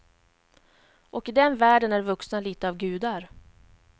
Och i den världen är vuxna lite av gudar.